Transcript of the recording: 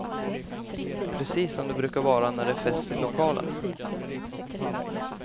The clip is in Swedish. Precis som det brukar vara när det är fest i lokalen.